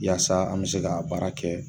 Yaasa an bɛ se ka baara kɛ